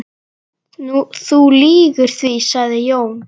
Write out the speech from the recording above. Þú lýgur því, sagði Jón.